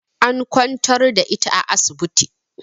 An kwantar da ita a asibiti